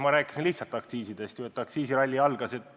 Ma rääkisin lihtsalt aktsiisidest, et aktsiisiralli algas.